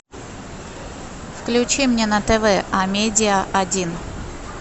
включи мне на тв амедия один